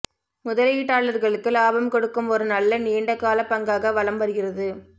முதலீட்டாளர்களுக்கு லாபம் கொடுக்கும் ஒரு நல்ல நீண்ட கால பங்காக வலம் வருகிறது